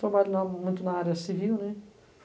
Trabalho na, muito na área civil, né.